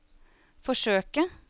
forsøke